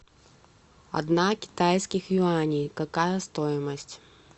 одна китайских юаней какая стоимость